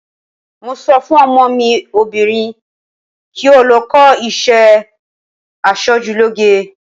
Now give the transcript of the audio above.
Mo sọ fún ọmọ mi obìnrin kí ó lọ kọ́ iṣẹ́ asojúlóge.